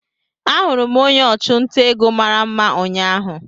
Ahụrụ m onye ọchụnta ego mara mma ụnyahụ